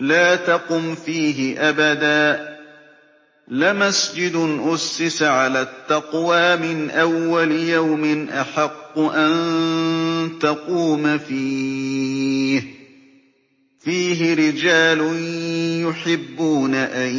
لَا تَقُمْ فِيهِ أَبَدًا ۚ لَّمَسْجِدٌ أُسِّسَ عَلَى التَّقْوَىٰ مِنْ أَوَّلِ يَوْمٍ أَحَقُّ أَن تَقُومَ فِيهِ ۚ فِيهِ رِجَالٌ يُحِبُّونَ أَن